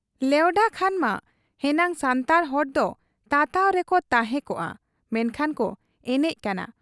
ᱞᱮᱣᱰᱷᱟ ᱠᱷᱟᱱ ᱢᱟ ᱦᱮᱱᱟᱝ ᱥᱟᱱᱛᱟᱲ ᱦᱚᱲᱫᱚ ᱛᱟᱛᱟᱣ ᱨᱮᱠᱚ ᱛᱟᱦᱮᱸ ᱠᱚᱜ ᱟ, ᱢᱮᱱᱠᱷᱟᱱ ᱠᱚ ᱮᱱᱮᱡ ᱠᱟᱱᱟ ᱾